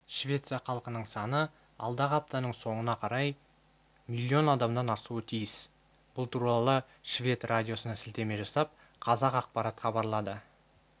швеция халқының саны алдағы аптаның соңына қарай миллион адамнан асуы тиіс бұл туралы швед радиосына сілтеме жасап қазақпарат хабарлады